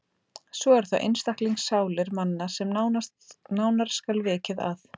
Svo eru það einstaklingssálir manna, sem nánar skal vikið að.